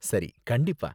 சரி கண்டிப்பா.